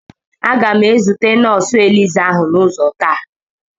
Aga m ezute nọọsụ elizá ahụ n'ụzọ taa.